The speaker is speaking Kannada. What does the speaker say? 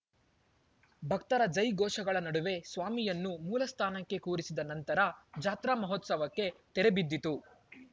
ಭಕ್ತರ ಜೈ ಗೋಷಗಳ ನಡುವೆ ಸ್ವಾಮಿಯನ್ನೂ ಮೂಲಸ್ಥಾನಕ್ಕೆ ಕೂರಿಸಿದ ನಂತರ ಜಾತ್ರಾ ಮಹೋತ್ಸವಕ್ಕೆ ತೆರೆಬಿದ್ದಿತು